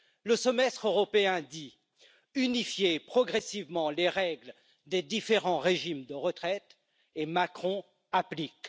Le Semestre européen dit unifiez progressivement les règles des différents régimes de retraite, et Macron applique.